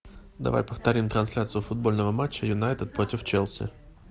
давай повторим трансляцию футбольного матча юнайтед против челси